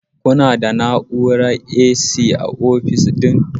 Kuna da na'urar AC a ofis ɗin?